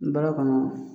Baara kɔnɔ